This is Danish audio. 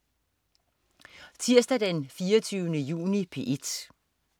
Tirsdag den 24. juni - P1: